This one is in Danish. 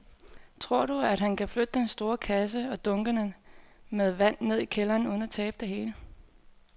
Tror du, at han kan flytte den store kasse og dunkene med vand ned i kælderen uden at tabe det hele?